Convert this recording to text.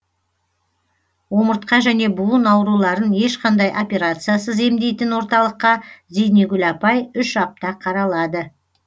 омыртқа және буын ауруларын ешқандай операциясыз емдейтін орталыққа зейнегүл апай үш апта қаралады